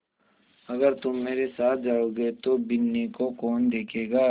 अगर तुम मेरे साथ जाओगे तो बिन्नी को कौन देखेगा